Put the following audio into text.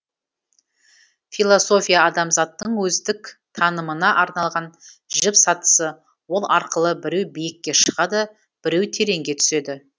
философия адамзаттың өздік танымына арналған жіп сатысы ол арқылы біреу биікке шығады біреу тереңге түседі